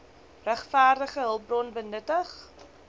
regverdige hulpbron benutting